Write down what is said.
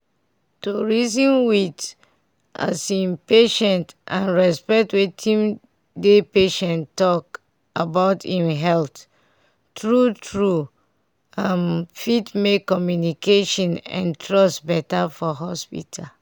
to reason with as in patient and respect wetin dey patient talk about im health true true um fit make communication and trust better for hospital.